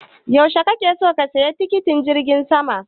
Yaushe kake so ka saya tikitin jirgin sama?